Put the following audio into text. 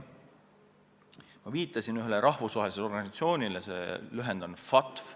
Ma viitasin ühele rahvusvahelisele organisatsioonile, mille nime lühend on FATF.